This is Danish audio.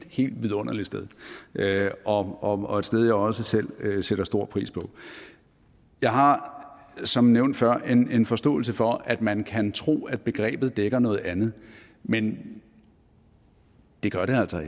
helt vidunderligt sted og og et sted jeg også selv sætter stor pris på jeg har som nævnt før en forståelse for at man kan tro at begrebet dækker noget andet men det gør det altså